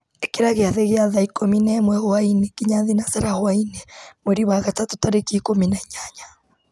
ĩkĩra gĩathĩ gĩa thaa ikũmi na ĩmwe hwaĩ-inĩ nginya thinacara hwaĩ-inĩ mweri wa gatatũ tarĩki ikũmi na inyanya